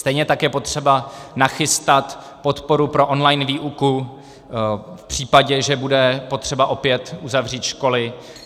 Stejně tak je potřeba nachystat podporu pro online výuku v případě, že bude potřeba opět uzavřít školy.